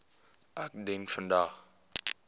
ek dien vandag